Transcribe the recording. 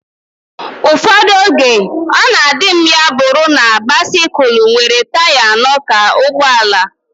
Ụfọdụ oge, ọ na adị m ya bụrụ na bisikul nwere taya anọ ka ụgbọala